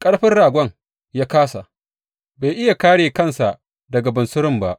Ƙarfin ragon ya kāsa, bai iya kāre kansa daga bunsurun ba.